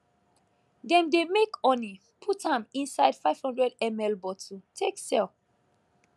dem dey make honey put am inside 500ml bottle take sell